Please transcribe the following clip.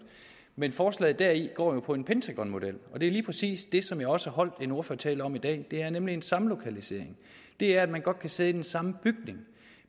men forslaget deri går jo på en pentagonmodel og det er lige præcis det som jeg også har holdt en ordførertale om i dag det er nemlig en samlokalisering det er at man godt kan sidde i den samme bygning